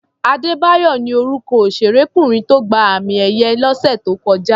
Adébáyọ̀ ni orúkọ òṣèrékùnrin tó gba àmì-ẹ̀yẹ lọ́sẹ̀ tó kọjá.